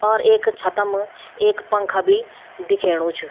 और एक छतम एक पंखा भी दिखेणु च।